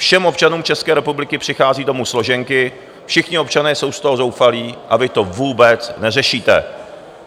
Všem občanům České republiky přichází domů složenky, všichni občané jsou z toho zoufalí, a vy to vůbec neřešíte.